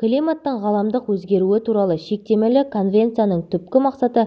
климаттың ғаламдық өзгеруі туралы шектемелі конвенцияның түпкі мақсаты